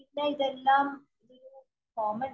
ഇതെല്ലം